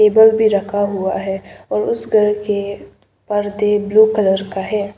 Bulb भी रखा हुआ है और उसे घर के पर्दे ब्लू कलर का है।